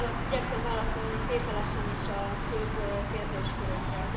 Igyekszem válaszolni tételesen is a főbb kérdéskörökre.